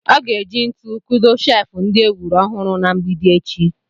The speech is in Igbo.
Ọ ga-eji ntu kudo sheefụ ndị e wuru ọhụrụ na mgbidi echi.